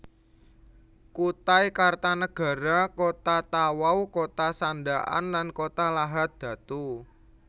Kutai Kartanagara Kota Tawau Kota Sandakan lan Kota Lahad Datu